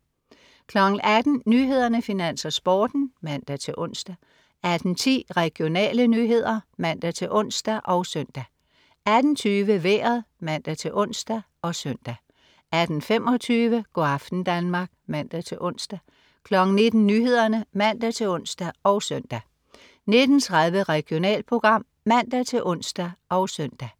18.00 Nyhederne, Finans, Sporten (man-ons) 18.10 Regionale nyheder (man-ons og søn) 18.20 Vejret (man-ons og søn) 18.25 Go' aften Danmark (man-ons) 19.00 Nyhederne (man-ons og søn) 19.30 Regionalprogram (man-ons og søn)